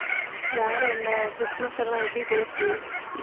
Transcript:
வேற என்ன கிறிஸ்துமஸ் எல்லாம் எப்படி போச்சு